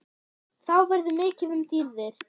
Þá verður mikið um dýrðir